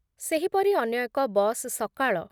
ସେହିପରି ଅନ୍ୟ ଏକ ବସ୍ ସକାଳ